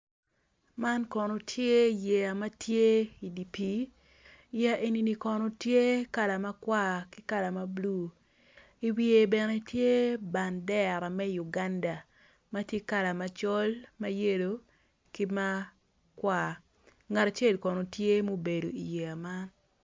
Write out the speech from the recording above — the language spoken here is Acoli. Man kono tye yeya ma tye i dye pii yeya eni kono tye kala makwar ki kala mabulu i wiye tye bandera me Uganda ma tye kala macol mayelo makwar.